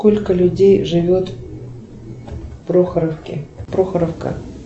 сколько людей живет в прохоровке прохоровка